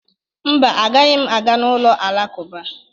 Mba, agaghị m aga n'ụlọ alakụba.